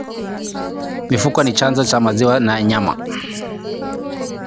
Mifugo ni chanzo cha maziwa na nyama.